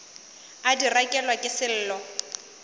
a di rekelwa ke sello